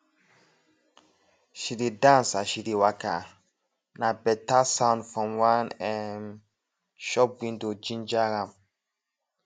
she dey dance as she dey waka na better sound from one um shop window ginger am